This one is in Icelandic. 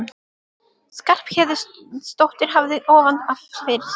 Skarphéðinsdóttir hafði ofan af fyrir Stínu.